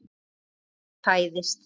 Barn fæðist.